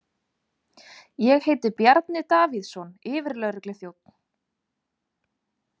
Ég heiti Bjarni Davíðsson, yfirlögregluþjónn.